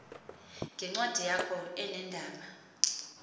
ngencwadi yakho eneendaba